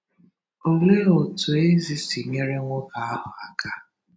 Olee otú Ezi si nyere nwoke ahụ aka?